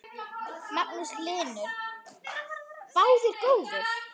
Magnús Hlynur: Báðir góðir?